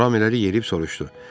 Ram irəli yeriyib soruşdu.